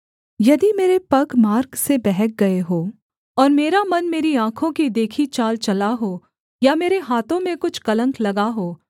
यदि मेरे पग मार्ग से बहक गए हों और मेरा मन मेरी आँखों की देखी चाल चला हो या मेरे हाथों में कुछ कलंक लगा हो